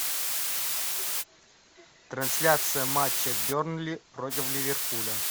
трансляция матча бернли против ливерпуля